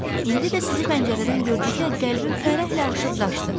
İndi də sizi pəncərədən gördükdə qəlbim fərəhlə aşıb daşdı.